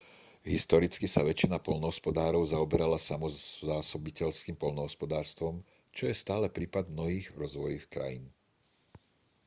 historicky sa väčšina poľnohospodárov zaoberala samozásobiteľským poľnohospodárstvom čo je stále prípad mnohých rozvojových krajín